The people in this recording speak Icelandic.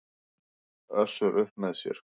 Össur upp með sér.